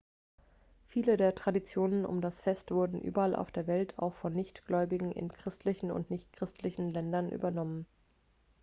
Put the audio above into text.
viele der traditionen um das fest wurden überall auf der welt auch von nichtgläubigen in christlichen und nichtchristlichen ländern übernommen